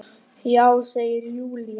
Já, segir Júlía.